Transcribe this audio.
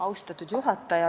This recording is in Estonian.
Austatud juhataja!